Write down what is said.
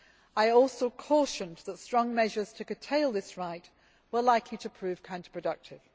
I also cautioned that strong measures to curtail this right were likely to prove counterproductive.